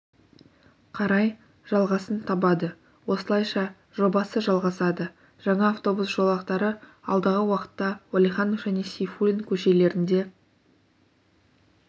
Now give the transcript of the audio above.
қарай жалғасын табады осылайша жобасы жалғасады жаңа автобус жолақтары алдағы уақытта уәлиіанов және сейфуллин көшелерінде